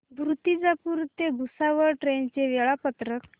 मूर्तिजापूर ते भुसावळ ट्रेन चे वेळापत्रक